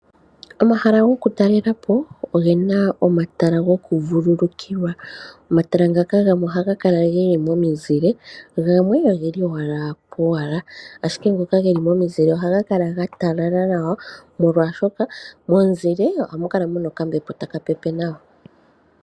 Omahala goku talela po ogena omatala goku vululukilwa. Omatala ngaka gamwe ohaga kala geli momizile, gamwe ogeli owala powala. Ashike ngoka geli momizile ohaga kala ga talala nawa, molwaashoka momuzile ohamu kala muna okambepo taka pepe nawa